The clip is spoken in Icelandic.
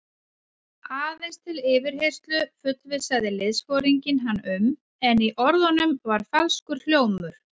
Aðeins til yfirheyrslu fullvissaði liðsforinginn hann um, en í orðunum var falskur hljómur.